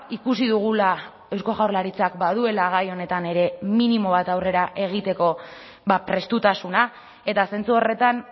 ikusi dugula eusko jaurlaritzak baduela gai honetan ere minimo bat aurrera egiteko prestutasuna eta zentzu horretan